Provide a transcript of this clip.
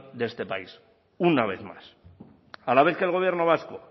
de este país una vez más a la vez que el gobierno vasco